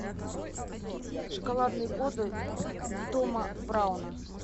шоколадные годы тома брауна